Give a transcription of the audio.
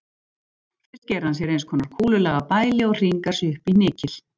Fyrst gerir hann sér eins konar kúlulaga bæli og hringar sig upp í hnykil.